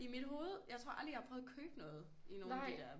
I mit hovede jeg tror aldrig jeg har prøvet at købe noget i nogen af de der